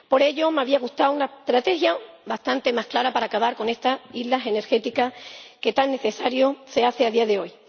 Por ello, me habría gustado una estrategia bastante más clara para acabar con estas islas energéticas que tan necesaria se hace a día de hoy.